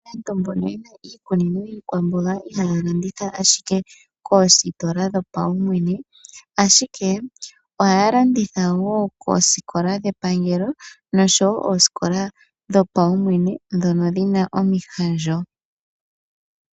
Aantu mbono yena iikunino yiikwamboga ihaya landitha ashike koositola dhopa wumwene ashike ohaya landitha woo koosikola dhepangelo noshowo oosikola dhopa wumwene ndhono dhina omihandjo.